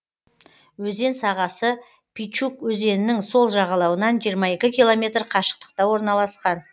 өзен сағасы пичуг өзенінің сол жағалауынан жиырма екі километр қашықтықта орналасқан